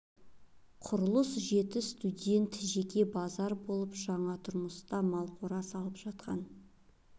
құрылыс жеті студент жеке базар болып жаңа тұрмыста мал қора салып жатқан